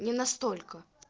не настолько